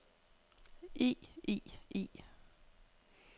i i i